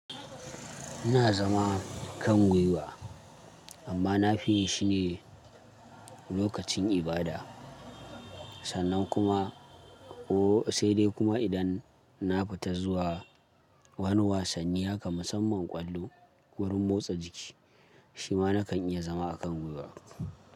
Ina zama kan gwiwa amma na fi yi shi ne lokacin ibada, sannan kuma ko sai dai kuma idan na fita zuwa wani wasanni haka musamman ƙwallo wurin motsa jiki shi ma nakan iya zama a kan gwiwa.